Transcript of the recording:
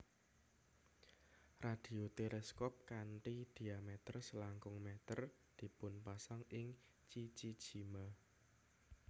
Radio teleskop kanthi diameter selangkung meter dipunpasang ing Chichijima